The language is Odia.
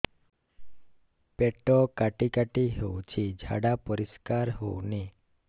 ପେଟ କାଟି କାଟି ହଉଚି ଝାଡା ପରିସ୍କାର ହଉନି